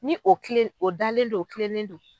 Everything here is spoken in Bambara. Ni o kilen o dalen don o kilennen don.